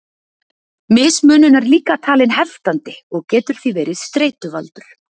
Mismunun er líka talin heftandi og getur því verið streituvaldur.